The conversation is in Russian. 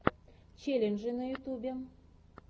челленджи на ютубе